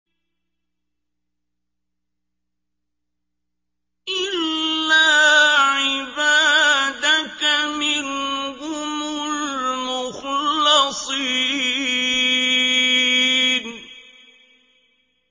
إِلَّا عِبَادَكَ مِنْهُمُ الْمُخْلَصِينَ